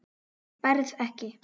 Berð ekki.